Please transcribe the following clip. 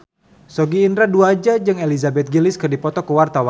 Sogi Indra Duaja jeung Elizabeth Gillies keur dipoto ku wartawan